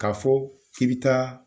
K'a fɔ k'i bi taa.